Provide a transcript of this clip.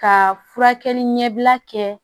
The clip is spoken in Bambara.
Ka furakɛli ɲɛbila kɛ